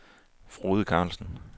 Frode Karlsen